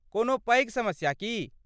कोनो पैघ समस्या की?